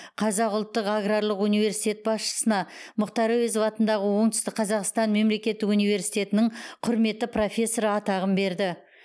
қазақ ұлттық аграрлық университеті басшысына мұхтар әуезов атындағы оңтүстік қазақстан мемлекеттік университетінің құрметті профессоры атағын берді